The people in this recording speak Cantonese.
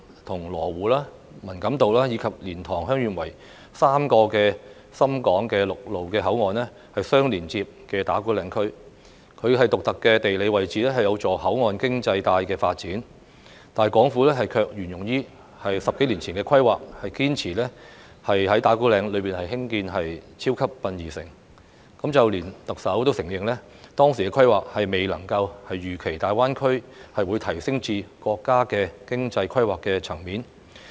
與羅湖、文錦渡，以及蓮塘/香園圍3個深港陸路口岸相連接的打鼓嶺區，其獨特的地理位置有助口岸經濟帶發展，但港府卻沿用10多年前的規劃，堅持在打鼓嶺區內興建"超級殯儀城"，連特首也承認，當時的規劃未能預期大灣區會提升至國家經濟規劃的層面。